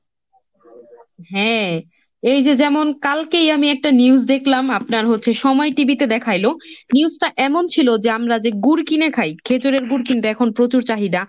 হ্যাঁ এই যে যেমন কালকেই আমি একটা news দেখলাম আপনার হচ্ছে সময় TV তে দেখাইলো, news টা এমন ছিল যে আমরা যে গুড় কিনে খাই খেজুরের গুড় কিন্তু এখন প্রচুর চাহিদা।